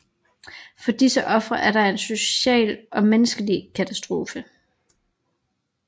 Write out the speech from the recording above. For disse ofre er det en social og menneskelig katastrofe